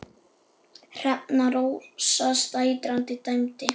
Hrefna Rósa Sætran dæmdi.